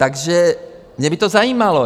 Takže mě by to zajímalo.